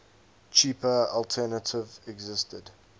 cheaper alternative existed